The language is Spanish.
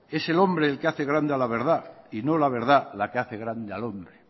es el hombre el que hace grande a la verdad y no la verdad la que hace grande al hombre